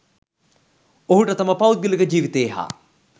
ඔහුට තම පෞද්ගලික ජීවිතයේ හා